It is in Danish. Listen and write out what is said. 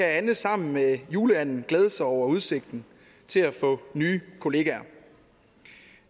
anne sammen med juleanden glæde sig over udsigten til at få nye kollegaer